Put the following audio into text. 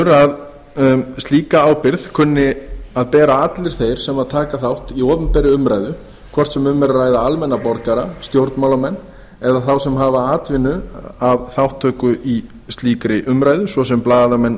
að slíka ábyrgð kunni að bera allir þeir sem þátt taka í opinberri umræðu hvort sem um er að ræða almenna borgara stjórnmálamenn eða þá sem atvinnu hafa af þátttöku í slíkri umræðu svo sem blaðamenn